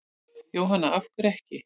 Jóhanna: Af hverju ekki?